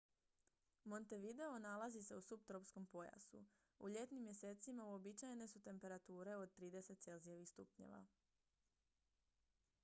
montevideo nalazi se u suptropskom pojasu; u ljetnim mjesecima uobičajene su temperature od +30°c